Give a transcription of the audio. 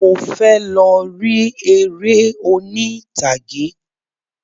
Mo fẹ lọ ri eré oní'tàgé.